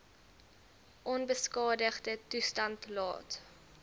onbeskadigde toestand laat